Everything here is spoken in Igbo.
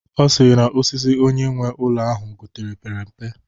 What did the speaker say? Ọ sịrị na osisi onye nwe ụlọ ahụ gotere pere mpe